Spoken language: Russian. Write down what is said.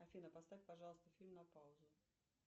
афина поставь пожалуйста фильм на паузу